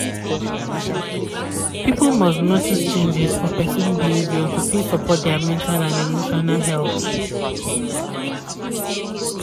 people must notice changes for person behavior to fit support dia mental and emotional health